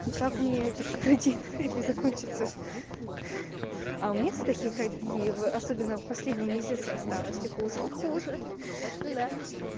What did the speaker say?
так у мне тахикардия навряд ли закончится а у меня с тахикардией особенно в последние месяца стало всё хуже и хуже да